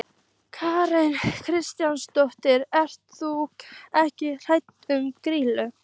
Karen Kjartansdóttir: Ert þú ekkert hræddur við Grýlu?